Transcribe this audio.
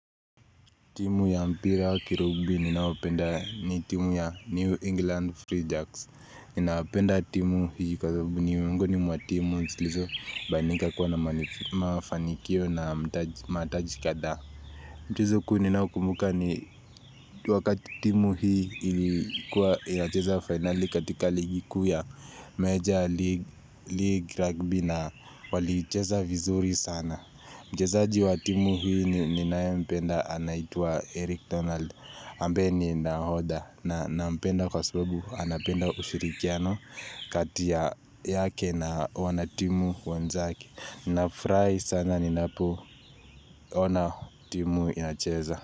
Timu ya mpira wa Kirugbi ninaowapenda ni timu ya New England Free Jacks. Ninawapenda timu hii kwa sababu ni miongoni mwa timu zisilizo fanyika kuwa na mafanikio na mataji kadhaa Mchezo kuu nioakumbuka ni wakati timu hii ilikuwa inacheza fainali katika ligi kuu ya major league rugby na waliicheza vizuri sana. Mchezaji wa timu hii ninaye mpenda anaitwa Eric Donald ambaye ni nahodha na mpenda kwa sababu anapenda ushirikiano kati yake na wanatimu wenzaki Nafurahi sana ni napoona timu inacheza.